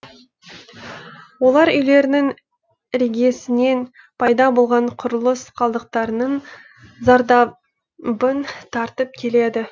олар үйлерінің іргесінен пайда болған құрылыс қалдықтарының зардабын тартып келеді